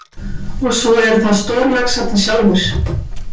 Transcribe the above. Og svo eru það stórlaxarnir sjálfir.